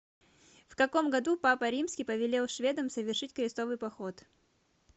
в каком году папа римский повелел шведам совершить крестовый поход